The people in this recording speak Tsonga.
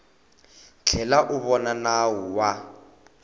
tlhela u vona nawu wa